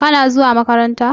Kana zuwa makaranta?